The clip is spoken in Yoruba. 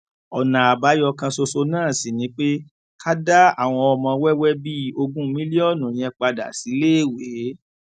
ọnà àbáyọ kan ṣoṣo náà sì ni pé ká dá àwọn ọmọ wẹwẹ bíi ogún mílíọnù yẹn padà síléèwé